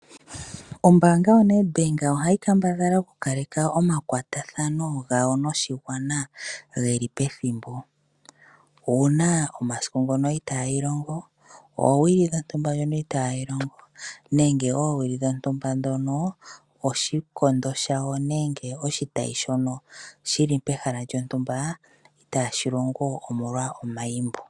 Ombaanga yaNedbank ohayi kambadhala okukaleka omakwatathano gawo noshigwana geli pethimbo . Uuna omasiku ngono itaayi longo nenge oowili dhontumba ndhoka itaayi longo nenge oowili dhontumba ndhono oshikondo shawo nenge oshitayi shono shili pehala lyontumba itaashi longo omolwa omayimbo.